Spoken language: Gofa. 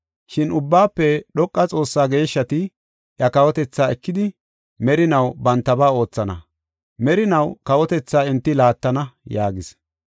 Shin Ubbaafe Dhoqa Xoossaa geeshshati iya kawotetha ekidi, merinaw bantaba oothana; merinaw kawotethaa enti laattana’ yaagis.